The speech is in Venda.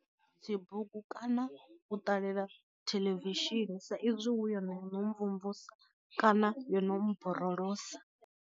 Dzi bugu kana u ṱalela theḽevishini sa izwi hu yone yo no mvumvusa kana yo no mborolosa.